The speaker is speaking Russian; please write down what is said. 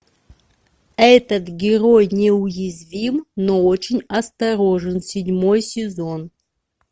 этот герой неуязвим но очень осторожен седьмой сезон